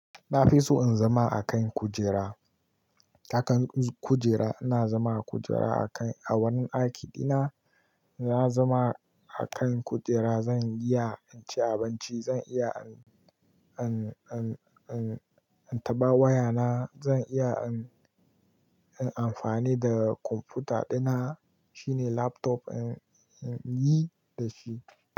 Na fi so in zama a kan kujera. A kan kujera ina zama a kujera a kan a wani aiki ɗina, na zama a kan kujera zan iya in ci abinci, zan iya an, an, an, an, an taɓa wayana, zan iya an, an amfani da computer ɗina shine laptop an, an yi da shi.